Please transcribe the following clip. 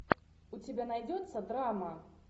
у тебя найдется драма